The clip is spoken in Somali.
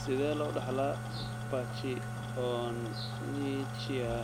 Sidee loo dhaxlaa pachyonychia